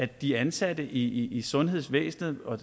de ansatte i i sundhedsvæsenet og